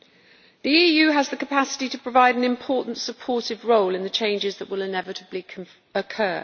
The EU has the capacity to provide an important supportive role in the changes that will inevitably occur.